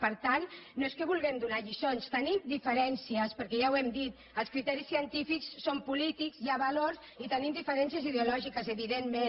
per tant no és que vulguem donar lliçons tenim diferències perquè ja ho hem dit els criteris científics són polítics hi ha valors i tenim diferències ideològiques evidentment